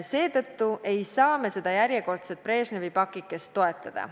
Seetõttu ei saa me seekordset Brežnevi pakikest toetada.